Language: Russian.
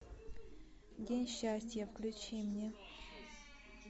день счастья включи мне